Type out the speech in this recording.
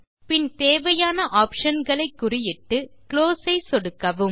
பின் தேவையான ஆப்ஷன் களை குறியிட்டு குளோஸ் ஐ சொடுக்கவும்